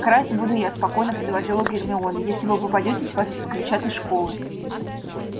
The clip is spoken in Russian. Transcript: красть буду я спокойно предложила гермиона если вы попадётесь вас исключат из школы